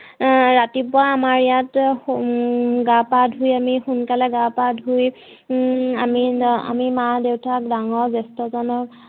ৰাতিপুৱা আমাৰ ইয়াত গা পা ধুই আমি সোনকালে গা পা ধুই হম আমি মা দেউতাক ডাঙৰ জেষ্ঠ্যজনক